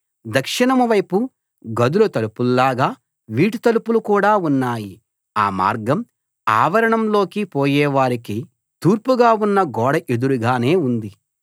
దక్షిణం వైపు గదుల తలుపుల్లాగా వీటి తలుపులు కూడా ఉన్నాయి ఆ మార్గం ఆవరణంలోకి పోయేవారికి తూర్పుగా ఉన్న గోడ ఎదురుగానే ఉంది